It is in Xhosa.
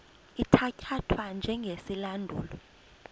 ithatya thwa njengesilandulo